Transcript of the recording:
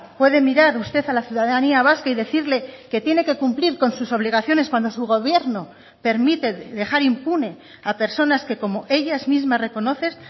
puede mirar usted a la ciudadanía vasca y decirle que tiene que cumplir con sus obligaciones cuando su gobierno permite dejar impune a personas que como ellas mismas reconocen